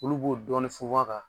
Olu b'o dɔɔni funfun a kan